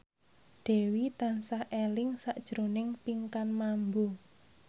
Dewi tansah eling sakjroning Pinkan Mambo